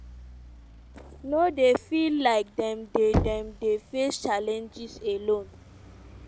no dey feel like dem dey dem dey face challenges alone".